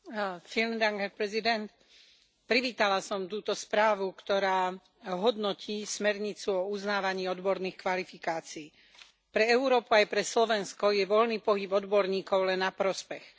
Vážený pán predsedajúci, privítala som túto správu, ktorá hodnotí smernicu o uznávaní odborných kvalifikácií. Pre Európu aj pre Slovensko je voľný pohyb odborníkov len na prospech.